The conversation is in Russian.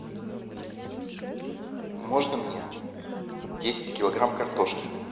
можно мне десять килограмм картошки